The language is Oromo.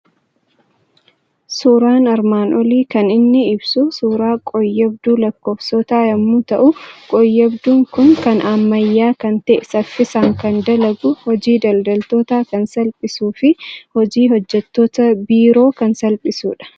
Suuraan armaan olii kan inni ibsu suuraa qooyyabduu lakkoofsotaa yommuu ta'u, qooyyabduun kun kan ammayyaa kan ta'e, saffisaan kan dalagu, hojii daldaltootaa kan salphisuu fi hojii hojjettota biiroo kan salphisudha.